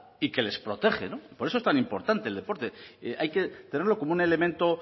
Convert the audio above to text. y que les protege no por eso es tan importante el deporte hay que tenerlo como un elemento